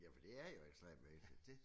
Ja for det er jo ekstremt vigtigt